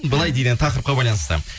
былай дейді енді тақырыпқа байланысты